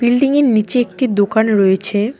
Building -এর নীচে একটি দোকান রয়েছে।